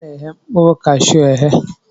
A na-eghe mkpụrụ kashuu eghe